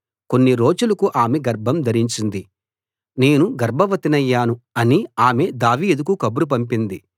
కొన్ని రోజులకు ఆమె గర్భం ధరించింది నేను గర్భవతి నయ్యాను అని ఆమె దావీదుకు కబురు పంపింది